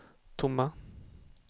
tomma